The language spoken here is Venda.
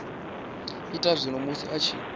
ita zwone musi a tshi